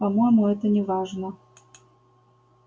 по-моему это неважно